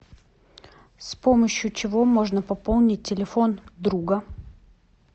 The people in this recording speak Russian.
с помощью чего можно пополнить телефон друга